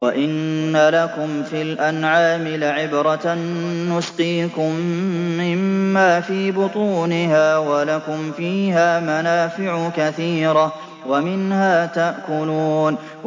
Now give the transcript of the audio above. وَإِنَّ لَكُمْ فِي الْأَنْعَامِ لَعِبْرَةً ۖ نُّسْقِيكُم مِّمَّا فِي بُطُونِهَا وَلَكُمْ فِيهَا مَنَافِعُ كَثِيرَةٌ وَمِنْهَا تَأْكُلُونَ